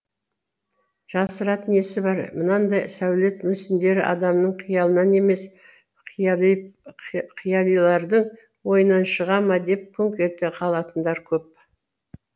жасыратын несі бар мынандай сәулет мүсіндері адамның қиялынан емес қиялилардың ойынан шыға ма деп күңк ете қалатындар көп